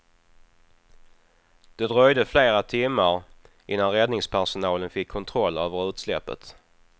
Det dröjde flera timmar innan räddningspersonalen fick kontroll över utsläppet.